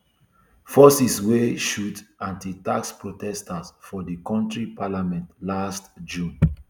forces wey shoot anti tax protesters for di kontri parliament last june